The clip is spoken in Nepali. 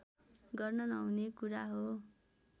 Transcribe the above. गर्न नहुने कुरा हो